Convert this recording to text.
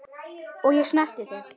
Og ég snerti þig.